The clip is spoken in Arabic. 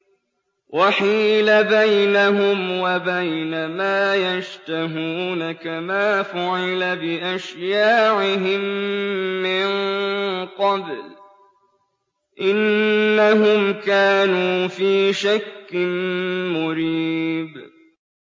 وَحِيلَ بَيْنَهُمْ وَبَيْنَ مَا يَشْتَهُونَ كَمَا فُعِلَ بِأَشْيَاعِهِم مِّن قَبْلُ ۚ إِنَّهُمْ كَانُوا فِي شَكٍّ مُّرِيبٍ